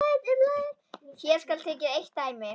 Hér skal tekið eitt dæmi.